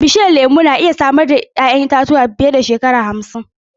Bishiyun lemu na iya samar da 'ya'yan itatuwa fiye da shekara hamsin.